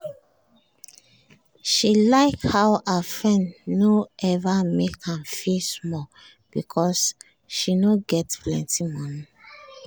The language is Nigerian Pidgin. she like how her friend no ever make am feel small because she no get plenty money